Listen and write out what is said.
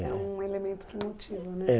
É um elemento que motiva, né?